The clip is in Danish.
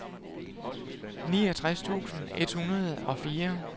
niogtres tusind et hundrede og fire